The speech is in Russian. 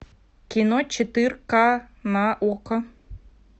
кино четырка на окко